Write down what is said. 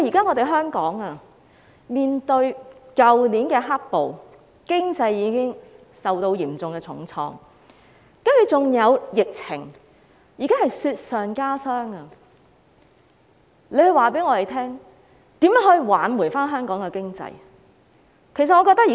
面對去年的"黑暴"，香港經濟已經受到重創，接着還有疫情，現在是雪上加霜，請他告訴我們，如何挽救香港的經濟？